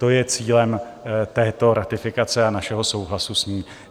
To je cílem této ratifikace a našeho souhlasu s ní.